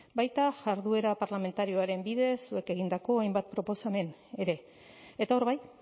baita jarduera parlamentarioaren bidez zuek egindako hainbat proposamen ere eta hor bai